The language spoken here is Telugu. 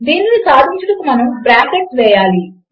దీనిని సాధించుటకు మనము బ్రాకెట్లు వేయాలి